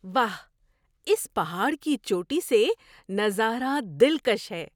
واہ! اس پہاڑ کی چوٹی سے نظارہ دلکش ہے!